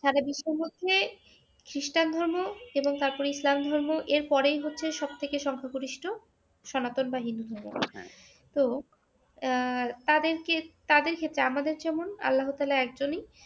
সারা বিশ্বের মধ্যে খ্রীষ্টান ধর্ম এবং তারপরে ইসলাম ধর্ম এরপরেই হচ্ছে সবথেকে সংখ্যাগরিষ্ট সনাতন বা হিন্দু ধর্ম। তো আহ তাদেরকে তাদের ক্ষেত্রে আমাদের যেমন আল্লাহ তাআলা একজনই